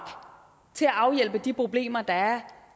til at afhjælpe de problemer der er